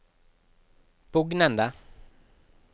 bugnende